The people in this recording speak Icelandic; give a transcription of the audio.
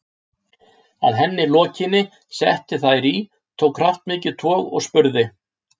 Að henni lokinni setti hann þær í, tók kraftmikið tog og spurði